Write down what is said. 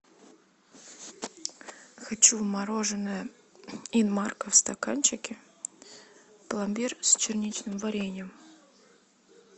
хочу мороженое инмарко в стаканчике пломбир с черничным вареньем